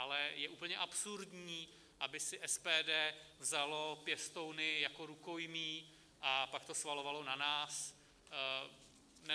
Ale je úplně absurdní, aby si SPD vzalo pěstouny jako rukojmí a pak to svalovalo na nás.